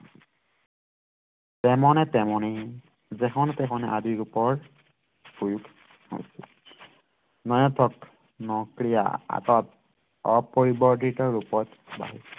তেমনে তেমনে যেহন তেহনে আদি ৰূপৰ প্ৰয়োগ হৈছিল মানে প্ৰথম ক্ৰিয়া আকাৰত অপৰিবৰ্ধিত ৰূপত বাঢ়িছিল